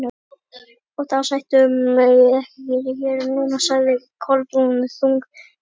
Og þá sætum við ekki hér núna- sagði Kolbrún, þung á brún.